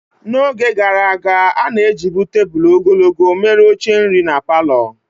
N'oge gaara aga, a na-ejibu tebụl ogologo mere oche nri na palọ.